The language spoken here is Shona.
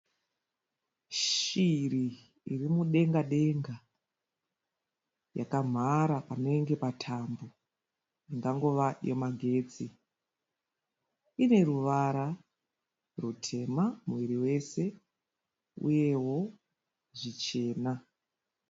Shiri irimudenga denga yakamhara panenge patambo ingangova yemagetsi ine ruvara rutema muviri wose uyewo zvichena.